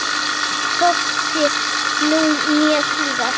Hvorki nú né síðar.